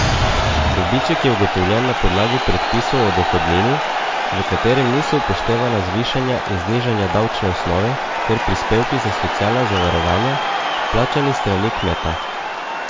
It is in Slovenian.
Dobiček je ugotovljen na podlagi predpisov o dohodnini, v katerem niso upoštevana zvišanja in znižanja davčne osnove ter prispevki za socialna zavarovanja, plačani s strani kmeta.